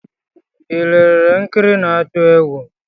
I lelere nkiri na-atu egwu?